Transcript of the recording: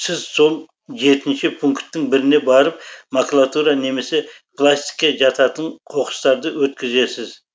сіз сол жетінші пункттің біріне барып макулатура немесе пластикке жататын қоқыстарды өткізесіз